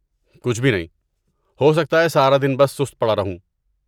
کچھ بھی نہیں، ہو سکتا ہے سارا دن بس سست پڑا رہوں۔